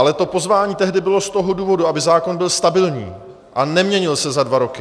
Ale to pozvání tehdy bylo z toho důvodu, aby zákon byl stabilní a neměnil se za dva roky.